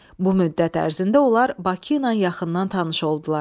Bu müddət ərzində onlar Bakı ilə yaxından tanış oldular.